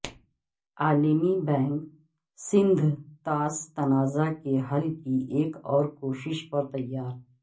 عالمی بینک سندھ طاس تنازع کے حل کی ایک اور کوشش پر تیار